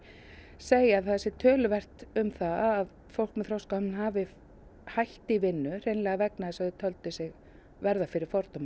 segja að það sé töluvert um það að fólk með þroskahömlun hafi hætt í vinnu vegna þess að þau töldu sig verða fyrir fordómum